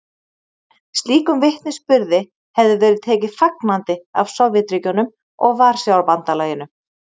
Slíkum vitnisburði hefði verið tekið fagnandi af Sovétríkjunum og Varsjárbandalaginu.